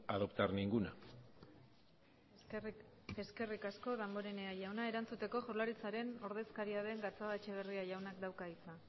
adoptar ninguna eskerrik asko damborenea jauna erantzuteko jaurlaritzaren ordezkaria den gatzagaetxeberra jaunak dauka hitza